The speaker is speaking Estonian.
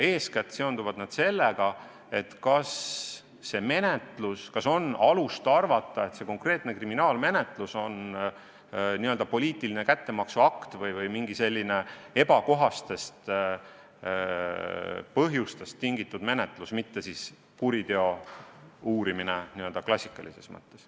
Eeskätt seonduvad need sellega, kas on alust arvata, et mõni konkreetne kriminaalmenetlus on poliitiline kättemaksuakt või on tegu mingitest muudest ebakohastest põhjustest tingitud menetlusega, mitte kuriteo uurimisega klassikalises mõttes.